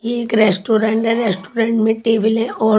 ये एक रेस्टुरेंट है रेस्टुरेंट में टेबल है और--